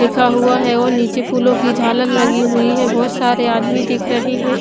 लिखा हुआ है और निचे फूलो की जालर लगी हुई है बहोत सारे आदमी दिख रहे है।